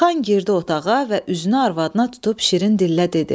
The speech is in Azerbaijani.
Xan girdi otağa və üzünü arvadına tutub şirin dillə dedi.